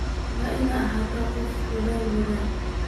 Waad ina ahatahy qof aad udadhal badhan.